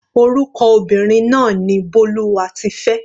Orúkọ obìnrin náà ni Bólúwatifẹ́.